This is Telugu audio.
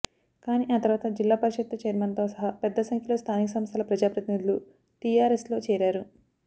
కానీ ఆ తరువాత జిల్లా పరిషత్తు చైర్మన్తో సహా పెద్ద సంఖ్యలో స్థానిక సంస్థల ప్రజాప్రతినిధులు టిఆర్ఎస్లో చేరారు